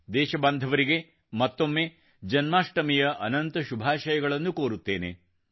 ದೇಶಬಾಂಧವರಿಗೆ ಮತ್ತೊಮ್ಮೆ ಜನ್ಮಾಷ್ಟಮಿಯ ಅನಂತ ಶುಭಾಷಯಗಳನ್ನು ಕೋರುತ್ತೇನೆ